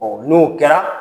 n'o kɛra